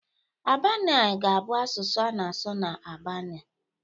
Albania ga-abụ asụsụ a na-asụ na Albania